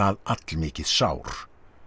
allmikið sár